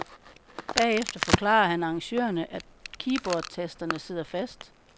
Bagefter forklarer han arrangørerne, at keyboardtasterne sidder fast.